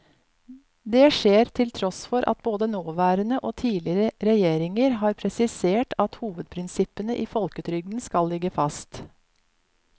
Det skjer til tross for at både nåværende og tidligere regjeringer har presisert at hovedprinsippene i folketrygden skal ligge fast.